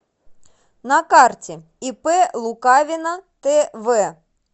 на карте ип лукавина тв